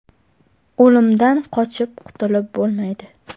O‘limdan qochib qutulib bo‘lmaydi .